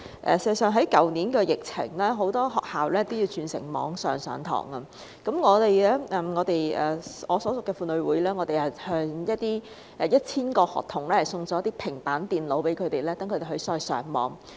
事實上，在去年疫情中，很多學校也要轉為網上授課，我所屬的婦女會曾向1000名學童送上平板電腦，讓他們在網上上課。